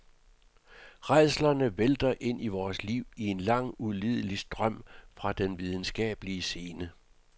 Rædslerne vælter ind i vores liv i en lang ulidelig strøm fra den videnskabelige scene.